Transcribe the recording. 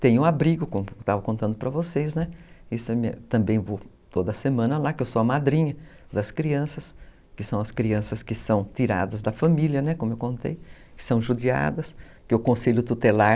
Tenho abrigo, como eu estava contando para vocês, né, também vou toda semana lá, que eu sou a madrinha das crianças, que são as crianças que são tiradas da família, né, como eu contei, que são judiadas, que o Conselho Tutelar